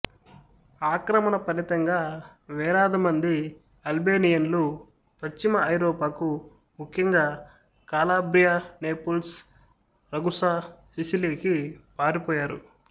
ఆక్రమణ ఫలితంగా వేలాది మంది అల్బేనియన్లు పశ్చిమ ఐరోపాకు ముఖ్యంగా కాలాబ్రియా నేపుల్స్ రగుసా సిసిలీకి పారిపోయారు